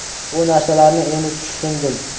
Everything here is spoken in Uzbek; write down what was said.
Bu narsalarni endi tushundim.